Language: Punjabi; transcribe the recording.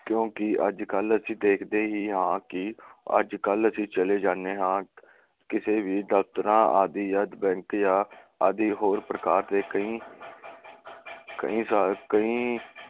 ਕਿਉਕਿ ਅੱਜ ਕੱਲ ਅਸੀ ਦੇਖਦੇ ਹੀ ਹਾਂ ਕਿ ਅੱਜ ਕੱਲ ਅਸੀ ਚਲੇ ਜਾਂਦੇ ਹਾਂ ਕਿਸੀ ਵੀ ਦਫ਼ਤਰਾਂ ਆਦਿ ਜਾਂ bank ਜਾਂ ਆਦਿ ਹੋਰ ਪ੍ਰਕਾਰ ਦੇ ਕਈ ਕਈ ਕਈ